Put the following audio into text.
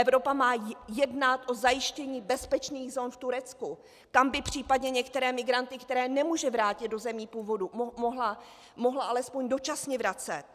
Evropa má jednat o zajištění bezpečných zón v Turecku, kam by případně některé migranty, které nemůže vrátit do zemí původu, mohla alespoň dočasně vracet.